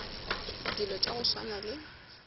dilo tša go swana le